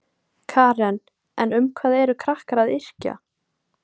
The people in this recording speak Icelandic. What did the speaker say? Karen: En um hvað eru krakkar að yrkja?